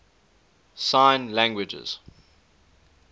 sign languages